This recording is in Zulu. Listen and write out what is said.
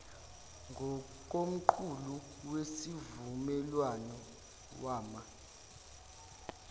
ngokomqulu wesivumelwano wama